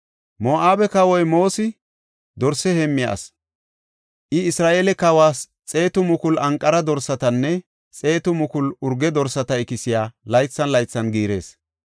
Moo7abe kawoy Moosi dorse heemmiya asi. I Isra7eele kawas 100,000 anqara dorsatanne 100,000 urge dorsata ikisiya laythan laythan giirees.